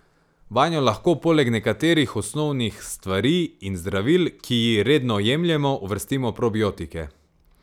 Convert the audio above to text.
Vanjo lahko poleg nekaterih osnovnih stvari in zdravil, ki ji redno jemljemo, uvrstimo probiotike.